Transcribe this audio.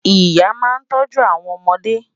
Ìyà náà tọ̀jú awọn ọmọde